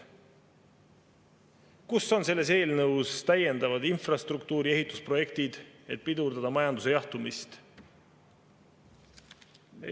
Kus on selles eelnõus täiendavad infrastruktuuri ehitusprojektid, et pidurdada majanduse jahtumist?